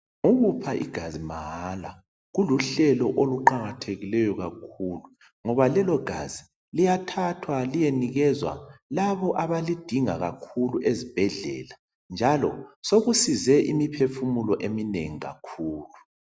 Ukupha igazi mahala kuluhlelo oluqakathekileyo kakhulu ngoba lelogazi liyathathwa liyenikezwa labo abalidinga kakhulu ezibhedlela njalo sokusize imiphefumulo eminengi kakhulu.